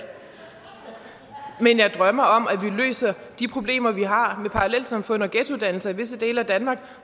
men jeg drømmer om at vi løser de problemer vi har med parallelsamfund og ghettodannelser i visse dele af danmark